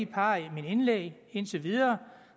par af mine indlæg indtil videre